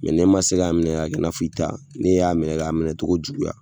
Mɛ n'i ma se k'a minɛ ka kɛ i n'a fɔ i ta, ni y'a minɛ k'a minɛ cogo juguya.